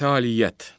Fəaliyyət.